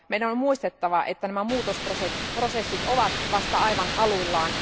Meidän on muistettava, että nämä muutosprosessit ovat vasta aivan aluillaan.